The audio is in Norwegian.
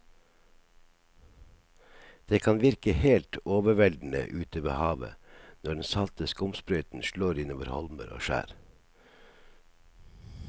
Det kan virke helt overveldende ute ved havet når den salte skumsprøyten slår innover holmer og skjær.